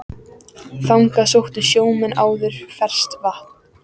Þangað sóttu sjómenn áður ferskt vatn.